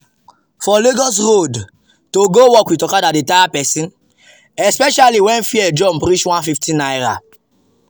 for lagos road to go work with okada dey tire person especially when fare jump reach ₦150.